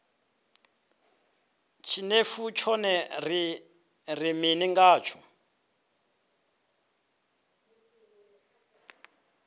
tshinefu tshone ri ri mini ngatsho